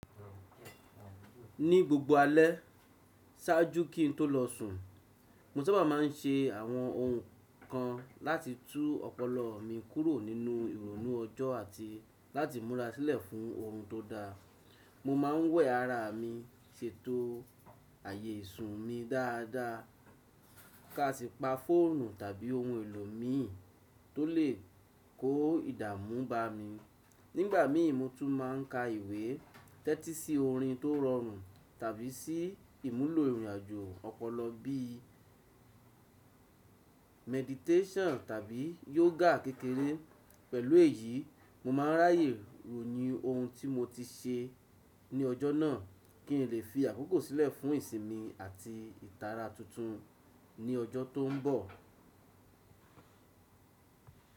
Ní gbogbo alẹ́ ṣáájú kí n tó lọ sùn, mo sábà má a ń ṣe àwọn ohun kan láti tú ọpọlọ mi kúrò nínú ìrònú ọjọ́ àti láti múra sílẹ̀ fún oorun tó da. Mo má a ń wẹ̀ ara mi, ṣètò ààyè ìsùn mi dáadáa ká si pa fóònù tàbí ohun èlò mi tó lè kó ìdààmú bá mi. Nígbà mi mo tún má a ń ka ìwé, tẹ́tí sí orin tó rọrùn tàbí sí ìmúlò ìrìnàjò ọpọlọ bí i meditation tàbí yoga kékeré. Pẹ̀lú èyí, mo má a ń ráyè ronu ohun tí mo ti ṣe ní ọjọ́ náà kí n lè fi àkókò sílẹ̀ fún ìsinmi àti ìtara tuntun ní ọjọ́ tó ń bọ̀.